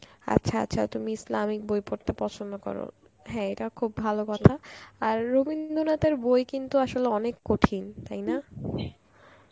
আচ্ছা আচ্ছা তুমি ইসলামিক বই পড়তে পছন্দ কর. হ্যাঁ এইটা খুব ভালো কথা, আর রবীন্দ্রনাথের বই কিন্তু আসলে অনেক কঠিন তাই না?